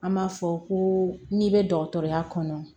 An b'a fɔ ko n'i bɛ dɔgɔtɔrɔya kɔnɔ